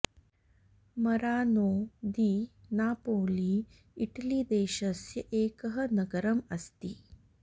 Marano di Napoli Italy देशस्य एकः नगरं अस्ति